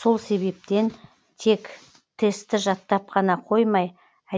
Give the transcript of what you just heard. сол себептен тек тестті жаттап қана қоймай